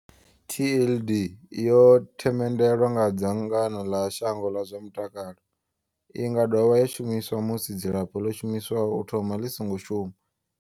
TLD, yo themendelwa nga dzangano ḽa shango ḽa zwa mutakalo. I nga dovha ya shumiswa musi dzilafho ḽo shumiswaho u thomani ḽi songo shuma.